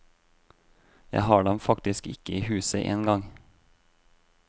Jeg har dem faktisk ikke i huset en gang.